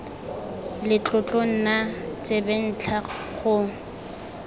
le tlotlo nna tsebentlha go